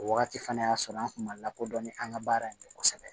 O wagati fana y'a sɔrɔ an kun ma lakodɔn ni an ka baara in ye kosɛbɛ